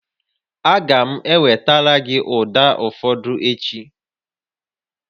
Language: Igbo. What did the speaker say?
Aga m ewetara gị ụda ụfọdụ echi